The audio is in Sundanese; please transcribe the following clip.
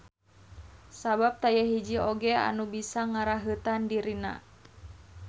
Sabab taya hiji oge anu bisa ngaraheutan dirina.